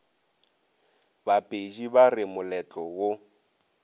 bapedi ba re moletlo wo